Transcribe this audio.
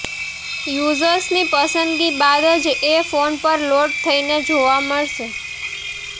યૂઝર્સની પસંદગી બાદ જ એ ફોન પર લોડ થઇને જોવા મળશે